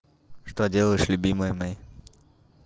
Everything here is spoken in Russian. что делаешь любимая моя